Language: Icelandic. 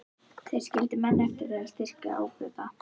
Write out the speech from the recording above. Þeir skildu menn eftir til að styrkja ábótann.